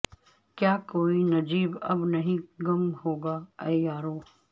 کیا کوئی نجیب اب نہیں گم ہوگا اے یارو